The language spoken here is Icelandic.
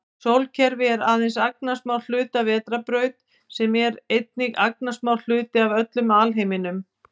Sólkerfi er aðeins agnarsmár hluti af vetrarbraut sem er einnig agnarsmár hluti af öllum alheiminum.